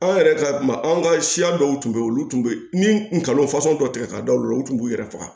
An yɛrɛ ka maaw ka siya dɔw tun bɛ yen olu tun bɛ kalo fasɔn dɔ tigɛ ka da olu la olu tun b'u yɛrɛ faga